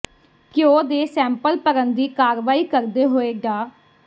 ਘਿਓ ਦੇ ਸੈਂਪਲ ਭਰਨ ਦੀ ਕਾਰਵਾਈ ਕਰਦੇ ਹੋਏ ਡਾ